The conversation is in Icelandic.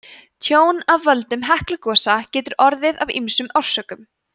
tjón af völdum heklugosa getur orðið af ýmsum orsökum